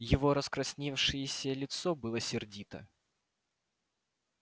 его раскрасневшееся лицо было сердито